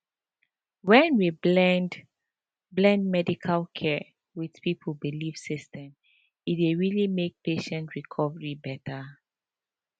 when we blend blend medical care with people belief system e dey really make patient recovery better